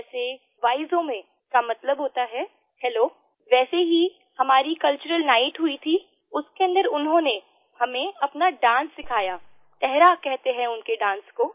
जैसेvaizomeका मतलब होता है हेलो वैसे ही हमारी कल्चरल नाइट हुई थीउसके अन्दर उन्होंने हमें अपना डांस सिखाया तेहरा कहते हैं उनके डांस को